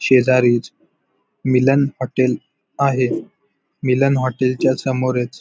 शेजारीच मिलन हॉटेल आहे मिलन हॉटेल च्या समोरच--